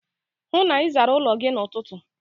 Hụụ na Ị zara ụlọ gị n'ụtụtụ!